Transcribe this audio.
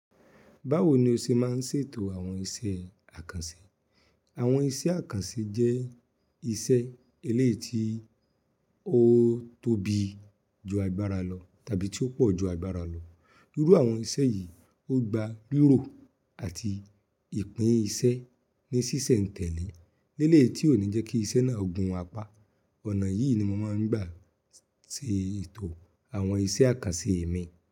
Báwo ni o ṣe máa ń ṣètò àwọn iṣẹ́ àkànṣe? Àwọn iṣẹ́ àkànṣe jẹ́ iṣẹ́ eléyìí ti ó tóbi ju agbára lọ tàbí tí ó pọ̀ ju agbára lọ. Irú àwọn iṣẹ́ yìí, ó gba rirò àti ìpín iṣẹ́ ní ṣíṣẹ̀ǹtẹ̀lé ní eléyi tí ó ní jẹ́ kí iṣẹ́ náà gun apá. Ọ̀nà yìí ni mo máa ń gbà ṣètò àwọn iṣẹ́ àkànṣe mi.